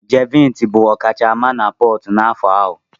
Jeviniki bụ ọkachamma na Portu n'afọ ahụ.